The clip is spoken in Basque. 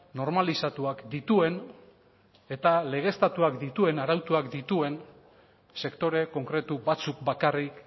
normalizatuak dituen eta legeztatuak dituen arautuak dituen sektore konkretu batzuk bakarrik